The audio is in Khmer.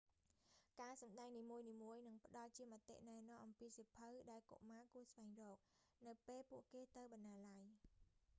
ការសម្តែងនីមួយៗក៏នឹងផ្តល់ជាមតិណែនាំអំពីសៀវភៅ ដែលកុមារគួរស្វែងរក នៅពេលពួកគេទៅបណ្ណាល័យ